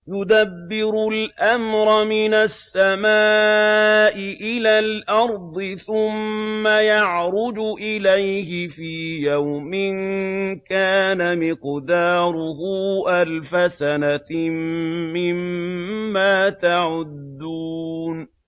يُدَبِّرُ الْأَمْرَ مِنَ السَّمَاءِ إِلَى الْأَرْضِ ثُمَّ يَعْرُجُ إِلَيْهِ فِي يَوْمٍ كَانَ مِقْدَارُهُ أَلْفَ سَنَةٍ مِّمَّا تَعُدُّونَ